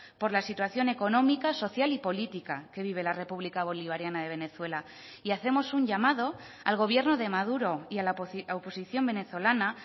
por la situación económica social y política que vive la república bolivariana de venezuela y hacemos un llamado al gobierno de maduro y a la oposición venezolana